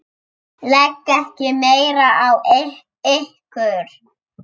Legg ekki meira á ykkur!